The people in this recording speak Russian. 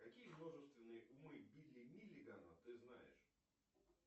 какие множественные умы билли миллигана ты знаешь